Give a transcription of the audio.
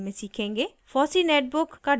* fossee netbook का desktop